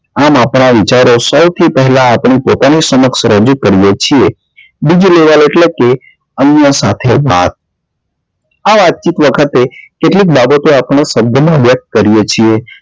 આમ આપણા વિચારો સૌથી પેલા આપની પોતાની સમક્ષ રજુ કરીએ છીએ બીજું level એટલે કે અન્ય સાથે વાત આ વાત ચિત વખતે કેટલીક બાબતો આપણે શબ્દ માં વ્યક્ત કરીએ છીએ